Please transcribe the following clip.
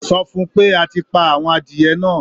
Sọ fún-un pé a ti pa àwọn adìẹ náà?